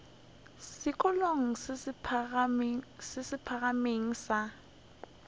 sekolong se se phagamego sa